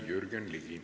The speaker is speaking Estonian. Jürgen Ligi.